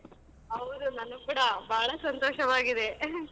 ಹೌದ್ ನನಗೂ ಕೂಡ ಬಾಳ ಸಂತೋಷವಾಗಿದೆ .